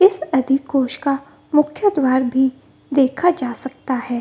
इस का मुख्य द्वार भी देखा जा सकता है।